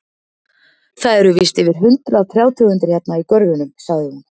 Það eru víst yfir hundrað trjátegundir hérna í görðunum, sagði hún.